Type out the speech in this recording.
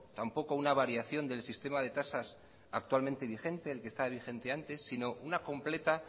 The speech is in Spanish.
tampoco una variación del sistema de tasas actualmente vigente el que estaba vigente antes sino una completa